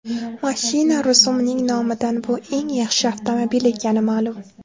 Mashina rusumining nomidan bu eng yaxshi avtomobil ekani ma’lum.